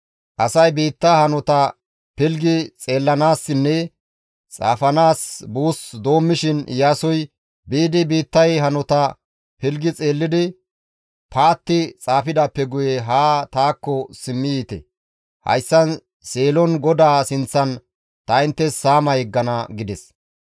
Asay biittaa hanota pilggi xeellanaassinne xaafanaas buus doommishin Iyaasoy, «Biidi biittay hanota pilggi xeellidi paatti xaafidaappe guye haa taakko simmi yiite. Hayssan Seelon GODAA sinththan ta inttes saama yeggana» gides.